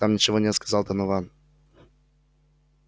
там ничего нет сказал донован